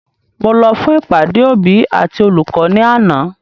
Mo lọ fún ìpàdé òbí àti olùkọ́ ni àná